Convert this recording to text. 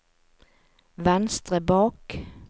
venstre bak